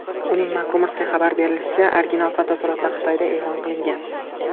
Uning MacRumors’ga xabar qilishicha, original fotosuratlar Xitoyda e’lon qilingan.